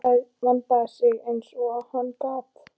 Vandaði sig eins og hann gat.